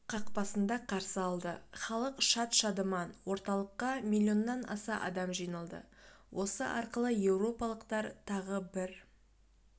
қақпасында қарсы алды халық шат-шадыман орталыққа миллионнан аса адам жиналды осы арқылы еуропалықтар тағы бір